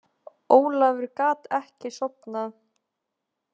Ólafur gat ekki sofnað.